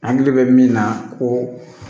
Hakili bɛ min na ko